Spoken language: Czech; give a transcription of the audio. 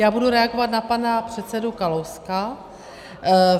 Já budu reagovat na pana předsedu Kalouska.